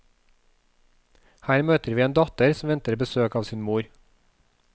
Her møter vi en datter som venter besøk av sin mor.